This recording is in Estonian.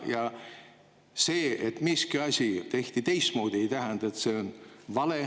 Ja see, et miski asi tehti teistmoodi, ei tähenda, et see on vale.